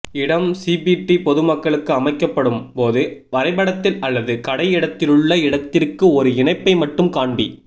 இடம் சிபிடி பொதுமக்களுக்கு அமைக்கப்படும் போது வரைபடத்தில் அல்லது கடை இடத்திலுள்ள இடத்திற்கு ஒரு இணைப்பை மட்டும் காண்பி